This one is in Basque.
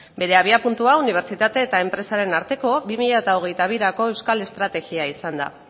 bere abiapuntua unibertsitate eta enpresaren arteko bi mila hogeita birako euskal estrategia izan da